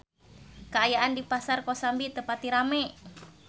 Kaayaan di Pasar Kosambi teu pati rame